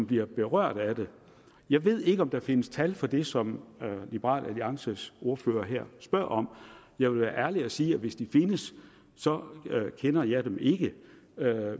bliver berørt af det jeg ved ikke om der findes tal på det som liberal alliances ordfører spørger om jeg vil være ærlig og sige at hvis de findes kender jeg dem ikke